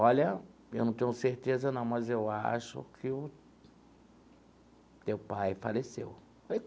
Olha, eu não tenho certeza não, mas eu acho que o teu pai faleceu.